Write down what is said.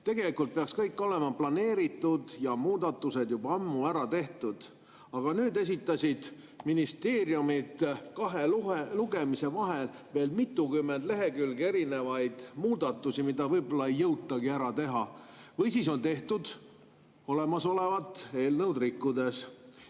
Tegelikult peaks kõik olema planeeritud ja muudatused juba ammu ära tehtud, aga nüüd esitasid ministeeriumid kahe lugemise vahel veel mitukümmend lehekülge erinevaid muudatusi, mida võib-olla ei jõutagi ära teha või siis on tehtud olemasolevat eelnõu rikkudes.